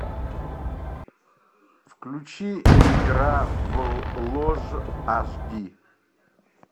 включи игра в ложь аш ди